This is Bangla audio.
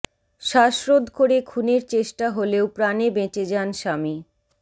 শ্বাসরোধ করে খুনের চেষ্টা হলেও প্রাণে বেঁচে যান স্বামী